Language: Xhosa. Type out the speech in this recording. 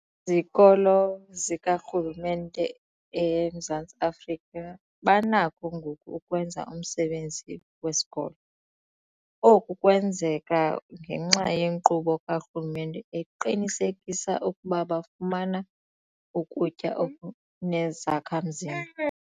zikolo zikarhulumente eMzantsi Afrika banakho ngoku ukwenza umsebenzi wabo wesikolo. Oku kwenzeka ngenxa yenkqubo karhulumente eqinisekisa ukuba bafumana ukutya okunezakha-mzimba.